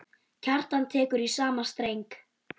Kjartan tekur í sama streng.